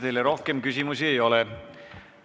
Teile rohkem küsimusi ei ole.